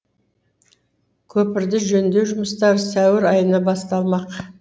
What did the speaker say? көпірді жөндеу жұмыстары сәуір айында басталмақ